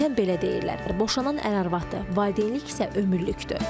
Adətən belə deyirlər: boşan an əri-arvadı, valideynlik isə ömürlükdür.